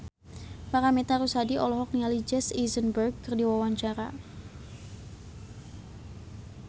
Paramitha Rusady olohok ningali Jesse Eisenberg keur diwawancara